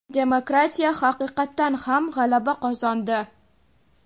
demokratiya haqiqatan ham g‘alaba qozondi.